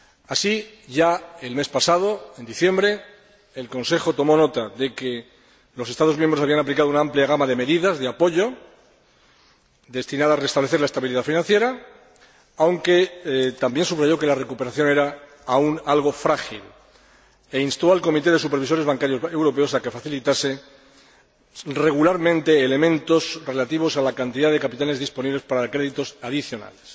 Así, ya el mes pasado, en diciembre, el Consejo tomó nota de que los Estados miembros habían aplicado una amplia gama de medidas de apoyo destinadas a restablecer la estabilidad financiera, aunque también subrayó que la recuperación era aún algo frágil e instó al Comité de Supervisores Bancarios Europeos a que facilitase regularmente elementos relativos a la cantidad de capitales disponibles para créditos adicionales.